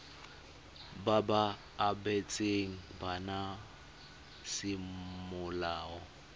ba ba abetsweng bana semolao